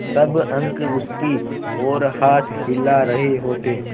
सब अंक उसकी ओर हाथ हिला रहे होते